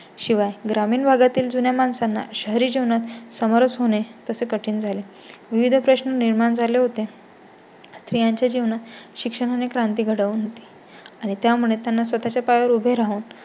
शिवाय ग्रामीण भागातील जुन्या माणसांना शहरी जीवनात समरस होणे तसे कठीण झाले. विविध प्रश्न निर्माण झाले होते. स्त्रीयांच्या जीवनात शिक्षणा ने क्रांती घडवून आणि त्यामुळे त्यांना स्वतः च्या पाया वर उभे राहून